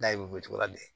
N'a ye o cogoya la bilen